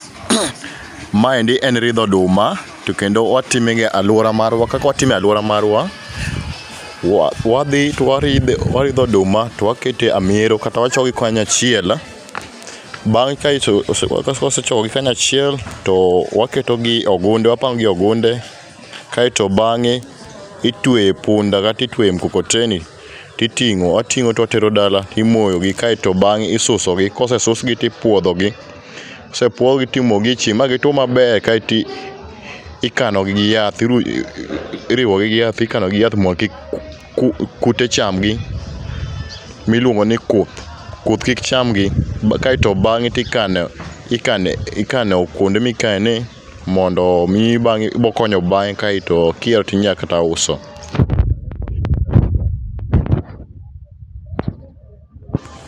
Maendi en ridho oduma to kendo watime ga e aluora marwa. Kakwatime ealuora marwa wadhi to waridho oduma to wakete amero kata wachokogi kanyachiel bang' kaeto ose kosechokogi kanyachiel too waketogi ogunde. Wapangogi ogunde kaeto bang'e itweyo epunda kata itweye mkokoteni titing'o wating'o towatero dala imoyogi kaeto bang'e isusogi kosesugi tipuodhogi. Kosepuogi timogi echieng' magi two maber kaeti ikanogi gi yath iru iriwogi gi yath ikanogi giyath mondo kik ku kute chamgi. Miluongini kuth, kuth kik chamgi kaeto bang'e tikano ikane kwonde mikene mondo mibang'e bokonyo bang'e kaeto kihero tinyakata uso.